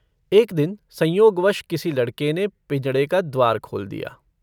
एक दिन संयोगवश किसी लड़के ने पिंजड़े का द्वार खोल लिया।